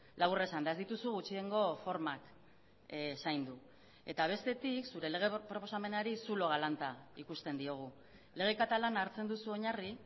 labur esanda ez dituzu gutxiengo formak zaindu eta bestetik zure lege proposamenari zulo galanta ikusten diogu lege katalana hartzen duzu oinarri